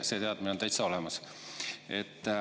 See teadmine on täitsa olemas.